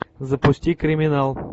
запусти криминал